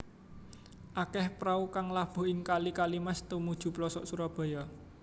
Akéh prau kang labuh ing kali Kalimas tumuju plosok Surabaya